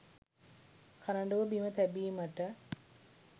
කරඬුව බිම තැබීමට